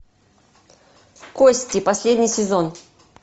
кости последний сезон